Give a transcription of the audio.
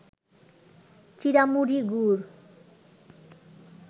চিঁড়ামুড়ি, গুড়